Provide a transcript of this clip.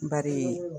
Bari